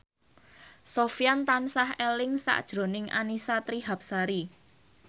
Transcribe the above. Sofyan tansah eling sakjroning Annisa Trihapsari